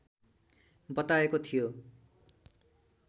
बताएको थियो